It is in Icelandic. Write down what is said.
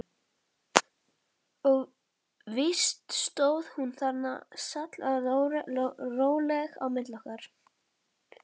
Og víst stóð hún þarna sallaróleg á milli okkar.